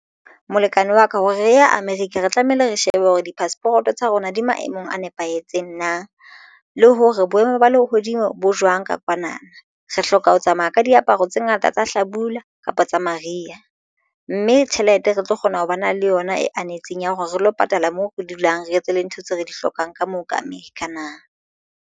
Molekane wa ka hore re ya America re tlamehile re shebe hore di-passport-o tsa rona di maemong a nepahetseng na le hore boemo ba lehodimo bo jwang ka kwana na. Re hloka ho tsamaya ka di aparo tse ngata tsa hlabula kapa tsa mariha, mme tjhelete re tlo kgona ho ba na le yona e anetseng ya hore re lo patala moo re dulang re etse le ntho tse re di hlokang ka moo ka America na.